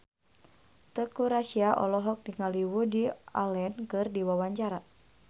Teuku Rassya olohok ningali Woody Allen keur diwawancara